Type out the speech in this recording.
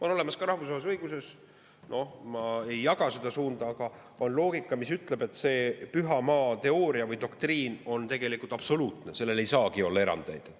On olemas rahvusvahelises õiguses – ma ei jaga seda suunda – ka loogika, mis ütleb, et see püha maa teooria või doktriin on tegelikult absoluutne, sellest ei saagi olla erandeid.